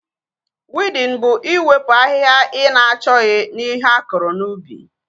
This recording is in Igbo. Wiidin bụ iwepụ ahịhịa ị na-achọghị na ihe akụrụ n'ubi